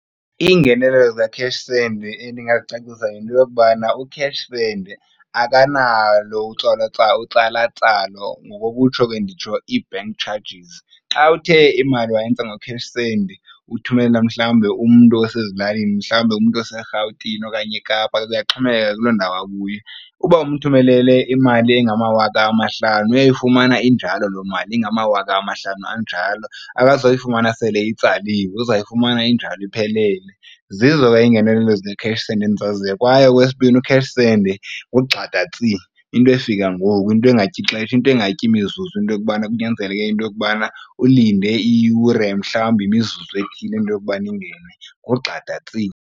Iingenelo zeCashSend endingazicacisa yinto yokubana uCashSend akanalo utsala tsalo ngokokutsho ke nditsho i-bank charges. Xa uthe imali wayenza ngoCashSend uthumelela mhlawumbe umntu wasezilalini mhlawumbe umntu waseRhawutini okanye eKapa kuyaxhomekeka kuloo ndawo akuyo. Uba umthumelele imali engamawaka amahlanu uyayifumana injalo loo mali ingamawaka amahlanu anjalo. Akazoyifumana sele itsaliswe, uzawuyifumana injalo iphelele. Zizo ke iingenelelo zikaCashSend endizaziyo. Kwaye okwesibini, uCashSend ngugxada tsi into efika ngoku, into engatyixesha, into engatyi mizuzu into yokubana kunyanzeleke into yokubana ulinde iyure mhlawumbi imizuzu ethile into yokubana ingene, ngugxada tsi.